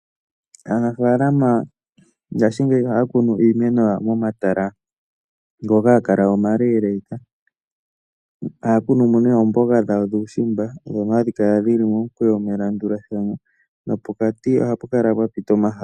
Aanafaalam angashingeyi ohaya kunu iimeno yawo momatala ngoka haga kala omalealeeka. Ohaya kunu mo nee oomboga dhawo dhuushimba ndhono hadhi kala dhi li momukweyo, melandulathano nopokati ohapu kala pwa pita omahala.